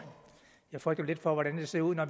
jeg frygter lidt for hvordan det ser ud når